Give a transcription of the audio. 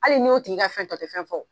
Hali n'i y'o tigi ka fɛn ta, o tɛ fɛn fɔ